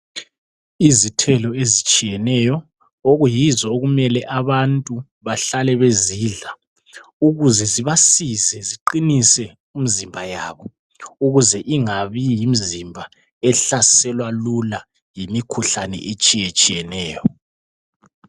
Izithelo ezithsiyeneyo okuyizo okumele abantu bahlale bezidla ukuze zibasize ziqinise imizimba yabo ukuze ingabi yimizimba ehlaselwa lula yimikhuhlane etshiyetshiyeneyo.